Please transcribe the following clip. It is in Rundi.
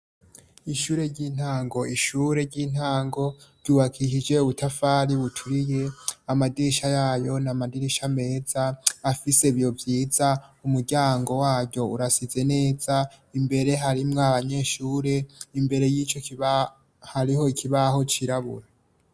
Ishure ry'intango ishure ry'intango ryubakishije ubutafari buturiye amadirisha yayo na madirisha meza afise ibiyo vyiza umuryango waryo urasize neza imbere harimwo abanyeshure imbere y'iyo hariho kibaho cirabura.